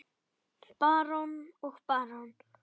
Barón og barón